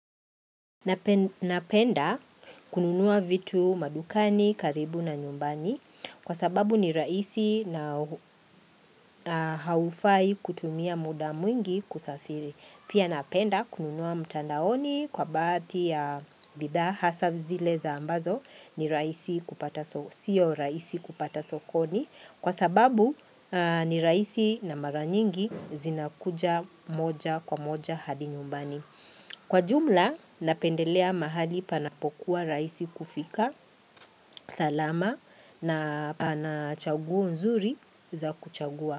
Napenda kununua vitu madukani karibu na nyumbani kwa sababu ni rahusi na haufai kutumia muda mwingi kusafiri. Pia napenda kununua mtandaoni kwa baadhi ya bidhaa hasa zile za ambazo ni rahisi kupata sokoni kwa sababu ni rahisi na mara nyingi zinakuja moja kwa moja hadi nyumbani. Kwa jumla, napendelea mahali panapokuwa rahisi kufika, salama na pana chaguo nzuri za kuchagua.